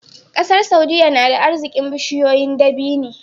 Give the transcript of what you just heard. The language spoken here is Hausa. ƙasar saudia nada arzikin bishiyoyin dabini